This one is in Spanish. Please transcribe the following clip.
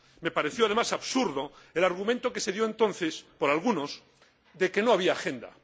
Me pareció, además, absurdo el argumento que adujeron entonces algunos de que no había agenda.